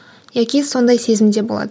яки сондай сезімде болады